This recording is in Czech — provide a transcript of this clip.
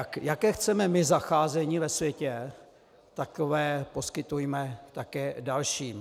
A jaké chceme my zacházení ve světě, takové poskytujme také dalším.